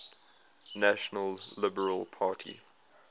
national liberal party